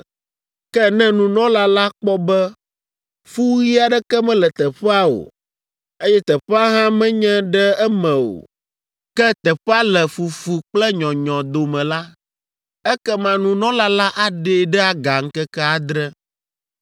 Ke ne nunɔla la kpɔ be fu ɣi aɖeke mele teƒea o, eye teƒea hã menye ɖe eme o, ke teƒea le fufu kple nyɔnyɔ dome la, ekema nunɔla la aɖee ɖe aga ŋkeke adre.